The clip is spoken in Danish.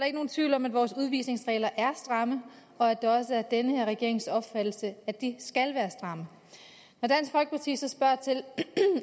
ikke nogen tvivl om at vores udvisningsregler er stramme og at det også er den her regerings opfattelse at de skal være stramme når dansk folkeparti så spørger til